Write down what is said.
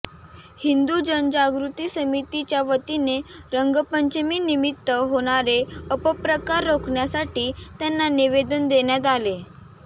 हिंदु जनजागृती समितीच्या वतीने रंगपंचमीनिमित्त होणारे अपप्रकार रोखण्यासाठी त्यांना निवेदन देण्यात आले